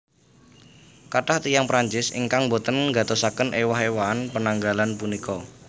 Kathah tiyang Prancis ingkang boten nggatosaken éwah éwahan penanggalan punika